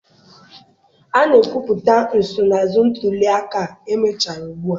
A na-ekwupụta nsonaazụ ntuli aka a mechara ugbu a.